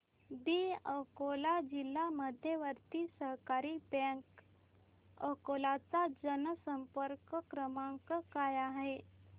दि अकोला जिल्हा मध्यवर्ती सहकारी बँक अकोला चा जनसंपर्क क्रमांक काय आहे